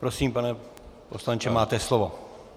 Prosím, pane poslanče, máte slovo.